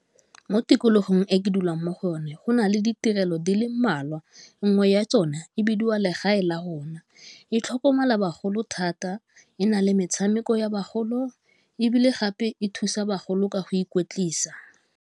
Mo tikologong e ke dulang mo go one go nale ditirelo di le mmalwa, nngwe ya tsone e bidiwa legae la rona, e tlhokomela bagolo thata, e na le metshameko ya bagolo, ebile gape e thusa bagolo ka go ikotlisa .